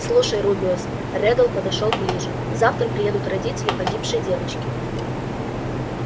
слушай рубеус реддл подошёл ближе завтра приедут родители погибшей девочки